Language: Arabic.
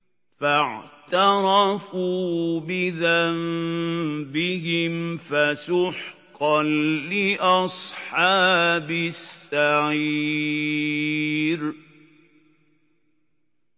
فَاعْتَرَفُوا بِذَنبِهِمْ فَسُحْقًا لِّأَصْحَابِ السَّعِيرِ